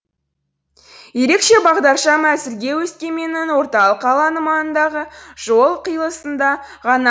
ерекше бағдаршам әзірге өскеменнің орталық алаңы маңындағы жол қиылысында ғана